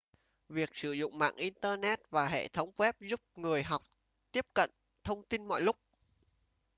việc sử dụng mạng internet và hệ thống web giúp người học tiếp cận thông tin mọi lúc